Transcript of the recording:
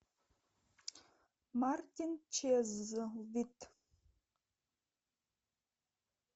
мартин чезлвит